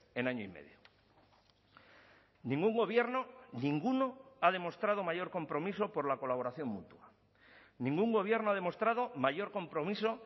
en año y medio ningún gobierno ninguno ha demostrado mayor compromiso por la colaboración mutua ningún gobierno ha demostrado mayor compromiso